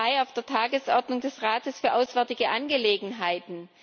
12. Mai auf der Tagesordnung des Rates für auswärtige Angelegenheiten.